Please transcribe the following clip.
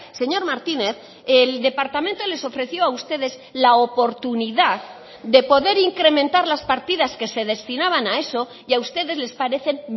señor martínez el departamento les ofreció a ustedes la oportunidad de poder incrementar las partidas que se destinaban a eso y a ustedes les parecen